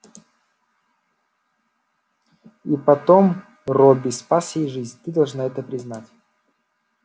и потом робби спас ей жизнь ты должна это признать